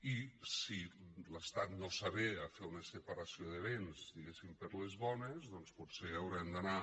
i si l’estat no s’avé a fer una separació de béns diguéssim per les bones doncs potser haurem d’anar